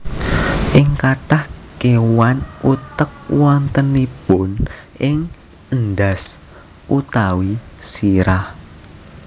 Ing kathah kéwan utek wontenipun ing endhas utawi sirah